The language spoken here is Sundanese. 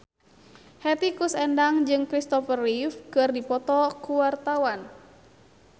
Hetty Koes Endang jeung Kristopher Reeve keur dipoto ku wartawan